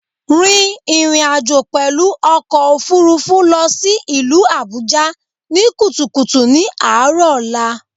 Rìn ìrìnàjò pèlú ọkò òfurufú lọ sí ìlú Àbújá ní kùtùkùtù ní àárò ọ̀la